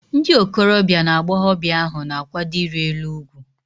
Ndị okorobia na agbọghọbịa ahu na-akwado iri elu ugwu